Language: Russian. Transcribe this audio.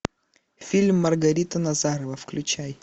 фильм маргарита назарова включай